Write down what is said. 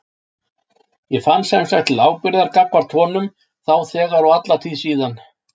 Ég fann sem sagt til ábyrgðar gagnvart honum þá þegar og alla tíð síðan.